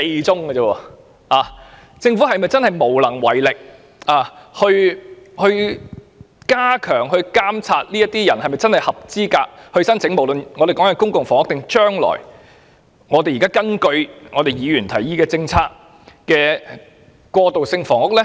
政府是否無力加強監察申請人是否真正符合資格申請公屋甚或現時議員提議興建的過渡性房屋呢？